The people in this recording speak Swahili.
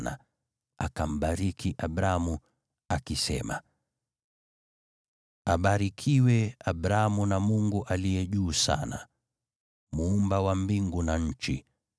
Naye akambariki Abramu, akisema, “Abarikiwe Abramu na Mungu Aliye Juu Sana, Muumba wa mbingu na nchi.